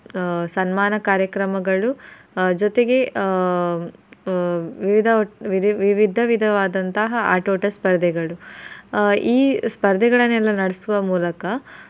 ಸನ್ಮಾನ ಕಾರ್ಯಕ್ರಮಗಳು ಜೊತೆಗೆ ಆಹ್ ವಿವಿಧ ವಿಧ~ ವಿಧವಾದಂತಹ ಆಟೋಟ ಸ್ಪರ್ಧೆಗಳು ಆಹ್ ಈ ಸ್ಪರ್ಧೆಗಳನ್ನೆಲ್ಲಾ ನಡ್ಸುವ ಮೂಲಕ.